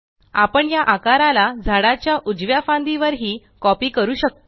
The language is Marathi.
आपण या आकाराला झाडाच्या उजव्या फांदी वर हि कॉपी करू शकतो